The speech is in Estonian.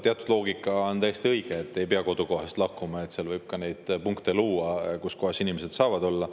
Teatud puhul on täiesti õige loogika, et ei pea kodukohast lahkuma ja võib neid punkte luua, kus inimesed saavad olla.